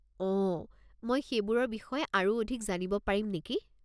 অঁ, মই সেইবোৰৰ বিষয়ে আৰু অধিক জানিব পাৰিম নেকি?